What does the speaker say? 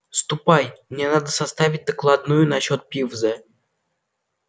ступай мне надо составить докладную насчёт пивза